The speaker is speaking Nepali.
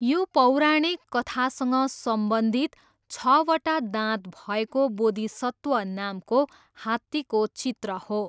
यो पौराणिक कथासँग सम्बन्धित छवटा दाँत भएको बोधिसत्व नामको हात्तीको चित्र हो।